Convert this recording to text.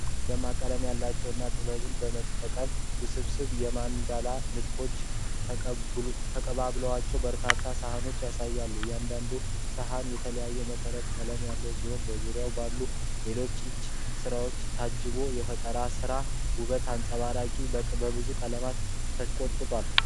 ደማቅ ቀለም ያላቸው እና ጥበብን በመጠቀም ውስብስብ የማንዳላ ንድፎች የተቀቡባቸውን በርካታ ሳህኖችን ያሳያል። እያንዳንዱ ሳህን የተለየ መሠረት ቀለም ያለው ሲሆን ፤ በዙሪያው ባሉ ሌሎች የእጅ ሥራዎች ታጅቦ የፈጠራ ጥበብን ውበት ያንጸባርቃል። በብዙ ቀለማትም ተሽቆጥቁጣል።